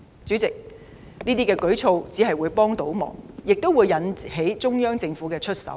主席，這些舉措只會幫倒忙，令中央政府出手。